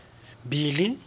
billy